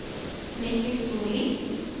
Mikkel Solli